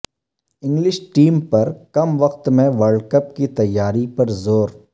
English team پرکم وقت میں ورلڈکپ کی تیاری پر زور